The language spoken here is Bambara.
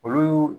Olu